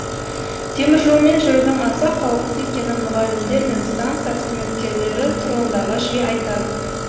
теміржолмен жүрудің аса қауіпті екенін мұғалімдер мен станция қызметкерлері тұрғындарға жиі айтады